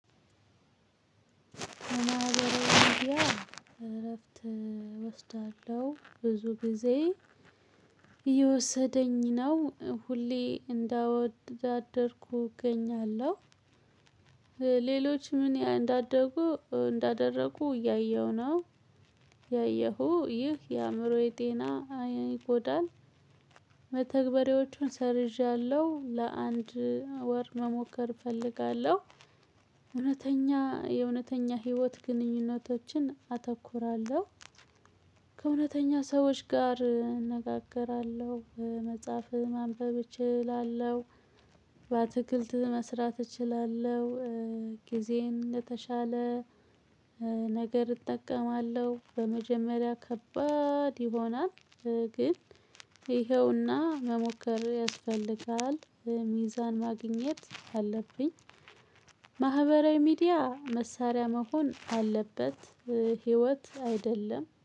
እረፍት እወስዳለሁ ብዙ ጊዜ እየወሰደኝ ነው ሁሌ እንዳወዳደርኩ እገኛለሁ። ሌሎች ምን እንዳደጉ እንዳደረጉ እያየሁ ነው። ያየሁ ይህ የአእምሮዬ ጤና አይን ይጎዳል። መተግበሬዎቹን ሰርዣለሁ ለአንድ ወር መሞከር እፈልጋለሁ። እውነተኛ የእውነተኛ ህይወት ግንኙነቶችን አተኩራለሁ። ከእውነተኛ ሰዎች ጋር እነጋገራለሁ። መጽሐፍ ማንበብ እችላለሁ። በአትክልት መስራት እችላለሁ። ጊዜን የተሻለ ነገር እጠቀማለሁ። በመጀመሪያ ከባድ ይሆናል። ግን ይኸውና መሞከር ያስፈልጋል። ሚዛን ማግኘት አለብኝ። ማህበራዊ ሚዲያ መሳሪያ መሆን አለበት። ህይወት አይደለም